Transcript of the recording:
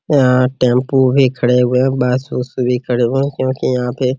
यहाँ टेम्पू भी खड़े हुए है बस वास भी खड़े हुए है क्यूंकि यहां पे --